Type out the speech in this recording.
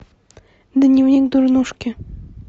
дневник дурнушки